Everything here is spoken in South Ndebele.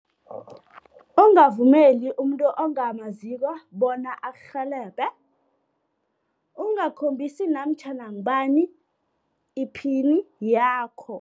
Ungavumeli umuntu ongamaziko bona akurhelebhe, ungakhombisi namtjhana ngubani i-pin yakho.